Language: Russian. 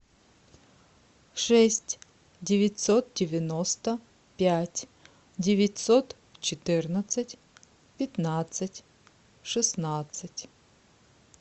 шесть девятьсот девяносто пять девятьсот четырнадцать пятнадцать шестнадцать